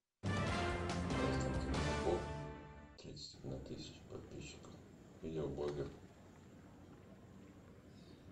константин попов тридцать одна тысяча подписчиков видео блогер